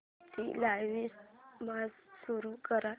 आजची live match सुरू कर